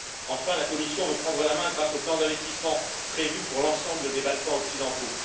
Enfin, la Commission veut prendre la main grâce au plan d'investissement prévu pour l'ensemble des Balkans occidentaux.